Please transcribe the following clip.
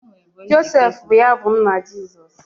Joseph bụ ya bụ nna Jizọs.